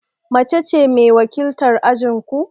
Mace ce mai wakiltar ajin ku?